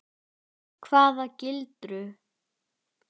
Keilur í heila bæta sjón.